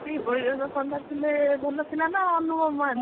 ଏଇ ବୈଜନ୍ତ ପଣ୍ଡା ଥିଲେ ଭଲ ଥିଲା ନା ଅନୁଭବ ମହାନ୍ତି?